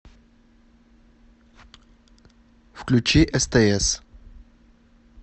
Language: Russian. включи стс